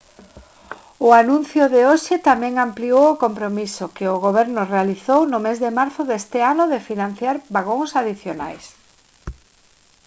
o anuncio de hoxe tamén ampliou o compromiso que o goberno realizou no mes de marzo deste ano de financiar vagóns adicionais